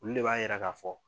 Ulu le b'a yira ka fɔ